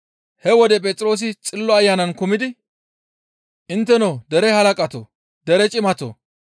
He wode Phexroosi Xillo Ayanan kumidi, «Intteno dere halaqatoo! Dere cimatoo!